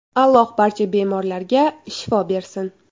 Alloh barcha bemorlarga shifo bersin.